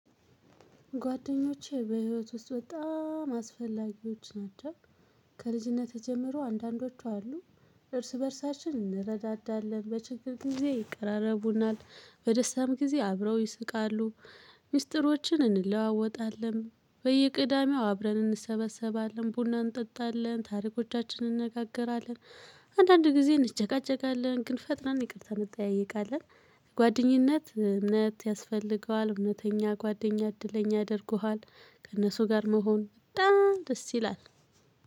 ጓደኞቼ በህይወት ውስጥ በጣም አስፈላጊዎች ናቸው። ከልጅነት ጀምሮ አንዳንዶቹ አሉ። እርስ በእርሳችን እንረዳዳለን በችግር ጊዜ ይቀራረቡናል በደስታም ጊዜ አብረው ይስቃሉ። ሚስጥሮችን እንለዋወጣለን በየቅዳሜው አብረን እንሰበሰባለን ቡና እንጠጣለን ታሪኮቻችን እንነጋገራለን። አንዳንድ ጊዜ እንጨቃጨቃለን ግን ፈጥነን ይቅርታ እንጠያየቃለን። ጓደኝነት እምነት ያስፈልገዋል እምነተኛ ጓደኛ እድለኛ አድርጎሃል። ከእነሱ ጋር መሆን ደስ ይላል።